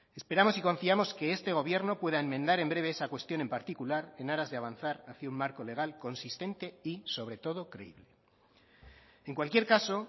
esperamos y confiamos que este gobierno pueda enmendar en breve esa cuestión en particular en aras de avanzar hacia un marco legal consistente y sobre todo creíble en cualquier caso